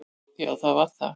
Já, það var það.